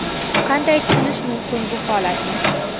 Qanday tushunish mumkin bu holatni.